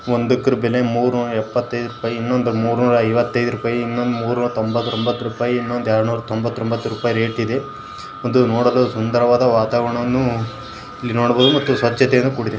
ಒಂದಕ್ಕೆ ಬೆಲೆ ಮೂರು ನೂರಾ ಎಪ್ಪತೈದು ರೂಪಾಯಿ ಇನ್ನೊಂದು ಮೂರೂ ನೂರಾ ಐವತ್ತಯ್ದು ಇನ್ನೊಂದು ಮೂರ್ ನೂರಾ ತೊಂಬರ್ಟ್ಒಂಬತ್ ರೂಪಾಯಿ ಇನ್ನೊಂದ್ ಎರಡ್ನೂರತೊಂಬರ್ಟ್ಒಂಬತ್ ರೂಪಾಯಿ ನೋಡಲು ಸುಂದರವಾದ ವಾತಾವರಣವನ್ನು ನೋಡಬಹುದು ಮತ್ತು ಸ್ವಚ್ಛತೆಯಿಂದ ಕೂಡಿದೆ.